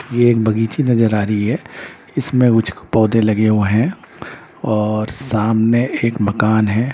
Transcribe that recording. ये एक बगीची नजर आ रही है इसमें उचिक पौधे लगे हुए हैं और सामने एक मकान है.